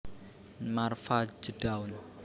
Marva J Dawn